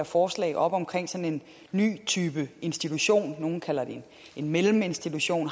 forslag op om en ny type institution nogle kalder det en melleminstitution